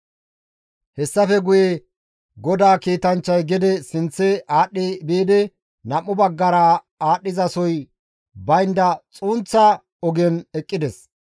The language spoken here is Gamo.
Hessafe guye GODAA kiitanchchay gede sinththe aadhdhi biidi nam7u baggara aadhdhizasoy baynda xunththa ogen eqqides.